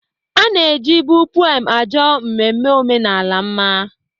Ana-eji bụ pụem ajọ mmemme omenala mma.